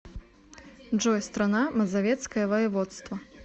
джой страна мазовецкое воеводство